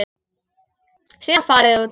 Síðan farið út.